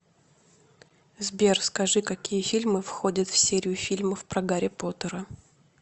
сбер скажи какие фильмы входят в серию фильмов про гарри поттера